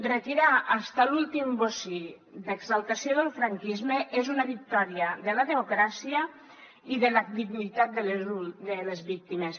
retirar fins a l’últim bocí d’exaltació del franquisme és una victòria de la democràcia i de la dignitat de les víctimes